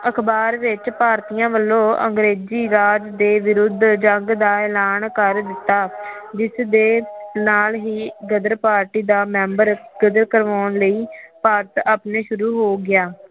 ਅਖ਼ਬਾਰ ਵਿਚ ਭਾਰਤੀਆਂ ਵਲੋਂ ਅੰਗਰੇਜੀ ਰਾਜ ਦੇ ਵਿਰੁੱਧ ਜੰਗ ਦਾ ਇਲਾਨ ਕਰ ਦਿਤਾ ਜਿਸ ਦੇ ਨਾਲ ਹੀ ਗਦਰ ਪਾਰਟੀ ਦਾ ਮੈਬਰ ਗਰਦ ਕਰਵਾਉਣ ਲਈ ਭਾਰਤ ਆਪਣੇ ਸ਼ੁਰੂ ਹੋ ਗਿਆ